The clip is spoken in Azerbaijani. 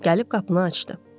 Gəlib qapını açdı.